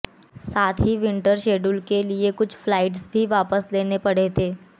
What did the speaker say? साथ ही winter schedule के लिए कुछ फ्लाइट्स भी वापस लेने पड़े थे